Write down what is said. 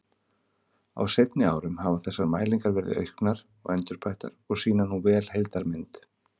Á seinni árum hafa þessar mælingar verið auknar og endurbættar og sýna nú vel heildarmynd.